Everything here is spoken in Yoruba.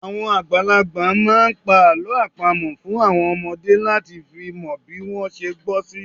Àwọn àgbàlagbà máa ń pa àlọ́ àpamọ̀ fún àwọn ọmọdé láti fi mọ bí wọ́n ṣe gbọ́ sí